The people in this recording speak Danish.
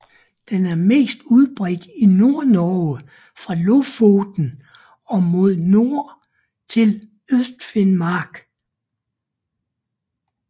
Den er mest udbredt i Nordnorge fra Lofoten og mod nord til Østfinnmark